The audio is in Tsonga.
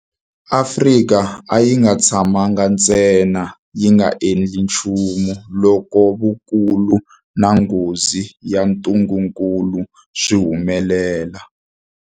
Afrika a yi nga tshamangi ntsena yi nga endli nchumu loko vukulu na nghozi ya ntungukulu swi humelela.